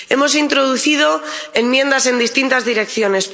Hemos introducido enmiendas en distintas direcciones.